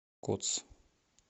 кодс